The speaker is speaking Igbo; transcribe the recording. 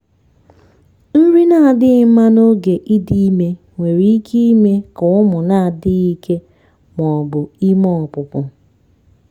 nri na-adịghị mma n'oge idị ime nwere ike ime ka ụmụ na-adịghị ike ma ọ bụ ime ọpụpụ.